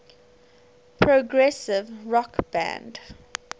progressive rock band